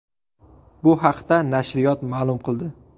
Bu haqda nashriyot ma’lum qildi .